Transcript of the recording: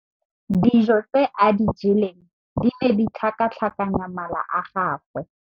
Dijô tse a di jeleng di ne di tlhakatlhakanya mala a gagwe.